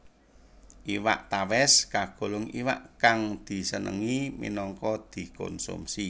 Iwak tawès kagolong iwak kang disenengi minangka dikonsumsi